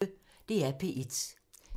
DR P1